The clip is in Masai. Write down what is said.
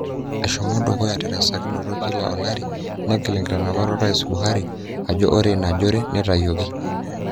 Eshomo dukuya terasakinoto kila olari ,negil nkitanapat orais Buhari ajo ore ina jore neitayioki.